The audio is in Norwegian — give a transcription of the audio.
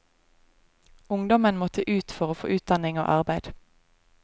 Ungdommen måtte ut for å få utdanning og arbeid.